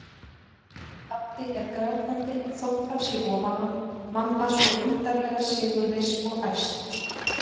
Pabbi er grátandi þótt hann sé ofan á, mamma svo undarlega sigurviss og æst.